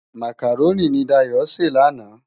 Mákáróni ni Dayo sé làná